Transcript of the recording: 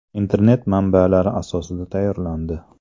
Internet manbalari asosida tayyorlandi.